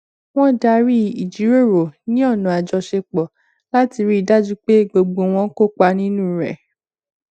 wọn darí ìjíròrò ní ọnà àjọṣepọ láti rí dájú pé gbogbo wọn kópa nínú rẹ